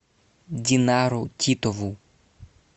динару титову